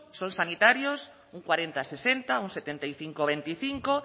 son sanitarios un cuarenta sesenta un setenta y cinco veinticinco